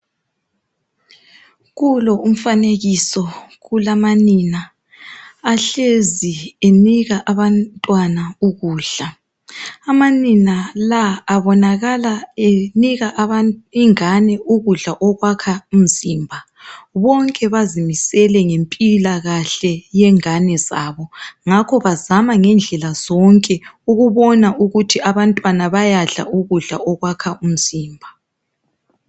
Kulo umfanekiso kulamanina ahlezi enika abantwana ukudla. Amanina la abonakala enika ingane ukudla okwakha imzimba bonke bazimisele ngempila kahle yengane zabo ngakho bazama ngendlela zonke ukubona ukuthi abantwana bayadla ukudla okwakha umzimba.